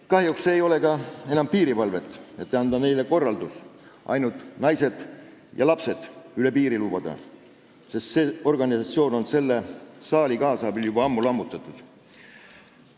Kahjuks ei ole ka enam piirivalvet, et saaks anda neile korralduse ainult naised ja lapsed üle piiri lubada, sest see organisatsioon on selle saali kaasabil juba ammu lammutatud.